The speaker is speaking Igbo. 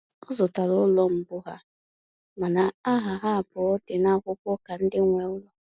Ọ zụtara ụlọ mbụ ha, mana aha ha abụọ dị n'akwụkwọ ka ndị nwe ụlọ